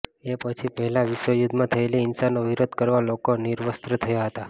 એ પછી પહેલા વિશ્વયુદ્ધમાં થયેલી હિંસાનો વિરોધ કરવા લોકો નિર્વસ્ત્ર થયા હતા